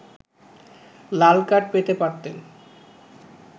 লাল card পেতে পারতেন